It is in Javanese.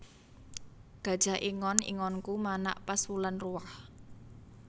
Gajah ingon ingonku manak pas wulan ruwah